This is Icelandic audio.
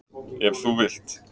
Ef þú vilt